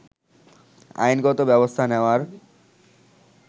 আইনগত ব্যবস্থা নেওয়ার